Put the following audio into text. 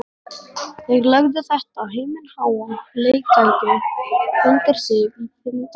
Þeir lögðu þetta himinháa leiktæki undir sig í þindarlausum galsa.